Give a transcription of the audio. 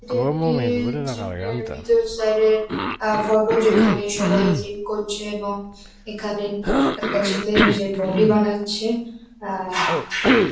এটা একটি জিম -এর ভিতরের সাইড -এর আ ফটো যেখানে সবাই জিম করছে এবং এখানে একটা ছেলে নিজের বডি বানাচ্ছে আ --